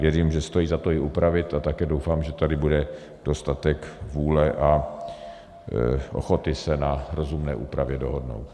Věřím, že stojí za to ji upravit, a také doufám, že tady bude dostatek vůle a ochoty se na rozumné úpravě dohodnout.